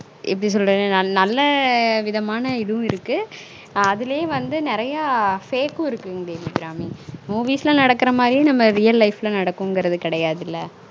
எப்டி சொல்றன நல்ல விதமான இதுவும் இருக்கு அதுலே வந்து நெறய fake ம் இருக்கு ங்க தேவி அபிராமி movies ல நடக்குற மாதிரியே நம்ம reallife ல நடக்குங்கறது கெடயாதுல